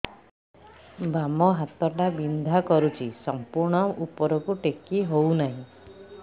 ବାମ ହାତ ଟା ବିନ୍ଧା କରୁଛି ସମ୍ପୂର୍ଣ ଉପରକୁ ଟେକି ହୋଉନାହିଁ